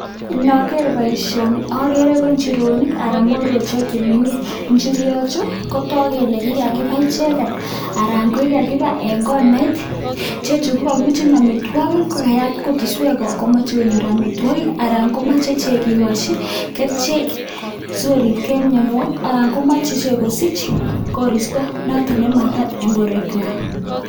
Inogeer boishonii agere ko inchirenik anan ko mororochik che mengech. Injirenichu kotogu kele kikabai icheket en konait. Ichechu ko kakibutyii amitwogiik ,amun kayaat kutuswek komache konyoor amitwogiik. Alan komoche iche kikochi kerichek sikoribgei en mianwogiik, komoche ichek kosich kooristo noton nemakat en borwekywak